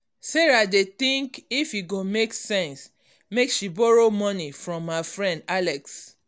sarah dey think if e go make sense make she borrow money from her friend alex